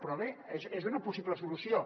però bé és una possible solució